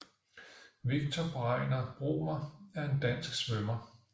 Viktor Bregner Bromer er en dansk svømmer